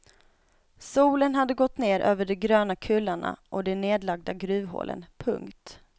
Solen hade gått ner över de gröna kullarna och de nedlagda gruvhålen. punkt